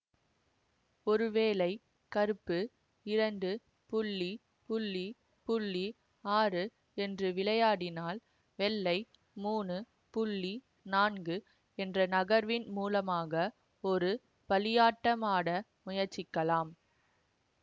ஒருவேளை கருப்பு இரண்டு ஆறு என்று விளையாடினால் வெள்ளை மூணு நான்கு என்ற நகர்வின் மூலமாக ஒரு பலியாட்டம் ஆட முயற்சிக்கலாம்